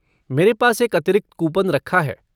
मेरे पास एक अतिरिक्त कूपन रखा है।